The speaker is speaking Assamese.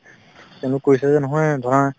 তেওঁলোকে কৈছে যে নহয় ধৰা